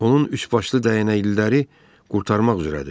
Onun üçbaşlı dəyənəkliləri qurtarmaq üzrədir.